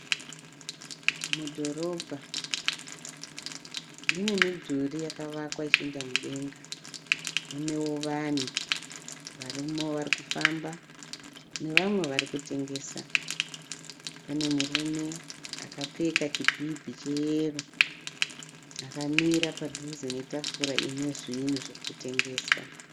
Mudhorobha mune midhuri yakavakwa ichienda mudenga. Munewo vanhu varumewo vari kufamba nevamwe vari kutengesa. Pane murume akapfeka chibhibhi cheyero akamira padhuze netafura ine zvinhu zvirikutengeswa.